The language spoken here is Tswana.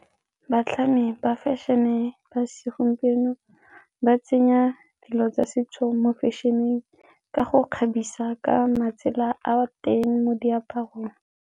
Batlhami ba fashion-e ba segompieno ba tsenya dilo tsa setso mo fashion-eng ka go kgabisa ka matsela a teng mo diaparong.